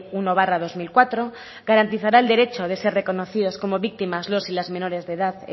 uno barra dos mil cuatro garantizará el derecho de ser reconocidos como víctimas los y las menores de edad